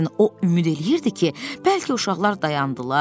O ümid eləyirdi ki, bəlkə uşaqlar dayandılar.